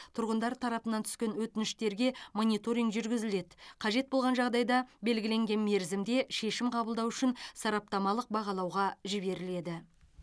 тұрғындар тарапынан түскен өтініштерге мониторинг жүргізіледі қажет болған жағдайда белгіленген мерзімде шешім қабылдау үшін сараптамалық бағалауға жіберіледі